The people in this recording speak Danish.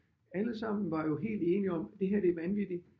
Allesammen var jo helt enige om at det her det er vanvittigt